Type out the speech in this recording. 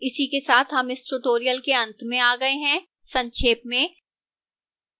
इसी के साथ हम इस स्पोकन tutorial के अंत में आ गए हैं संक्षेप में